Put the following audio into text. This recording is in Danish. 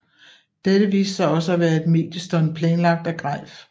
Dette viste sig også at være et mediestunt planlagt af Greif